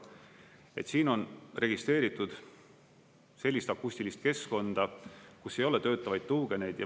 Et siin on registreeritud sellist akustilist keskkonda, kus ei ole töötavaid tuugeneid.